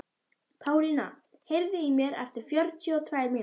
Pálína, heyrðu í mér eftir fjörutíu og tvær mínútur.